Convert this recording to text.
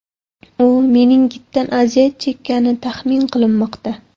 U meningitdan aziyat chekkani taxmin qilinmoqda.